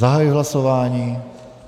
Zahajuji hlasování.